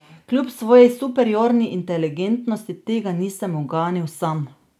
Kljub svoji superiorni inteligentnosti tega nisem uganil sam.